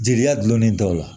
Jeliya gulonnen dɔw la